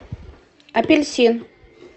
апельсин